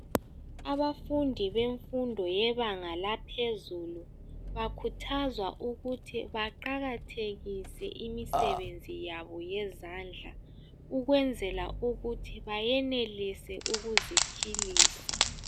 Abafundi bemfundo yebanga laphezulu bakhuthazwa ukuthi baqakathekise imisebenzi yabo yezandla ukwenzela ukuthi bayenelise ukuziphiilisa